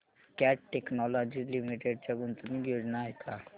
cat Technologies Limited च्या गुंतवणूक योजना आहेत का